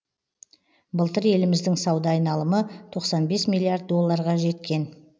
былтыр еліміздің сауда айналымы тоқсан бес миллиард долларға жеткен